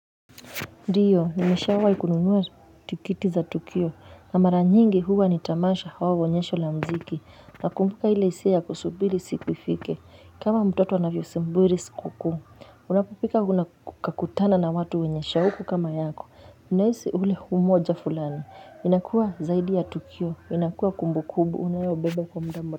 Ndio, nimeshawai kununua tikiti za tukio, na mara nyingi huwa ni tamasha au onyesho la mziki, na kumbuka ile hisia ya kusubiri siku ifike, kama mtoto anavyo subiri siku kuu Unapopika unakutana na watu wenye shauku kama yako, unahisi ule umoja fulani, inakuwa zaidi ya tukio, inakuwa kumbukumbu, unayo beba kwa muda.